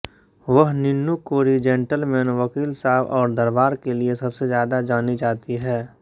वह निन्नू कोरी जेंटलमैन वकील साब और दरबार के लिए सबसे ज्यादा जानी जाती हैं